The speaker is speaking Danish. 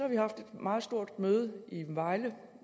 vi haft et meget stort møde i vejle